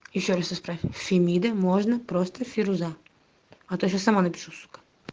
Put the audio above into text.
ещё раз фемиды можно просто фируза а ты сама напишу сукко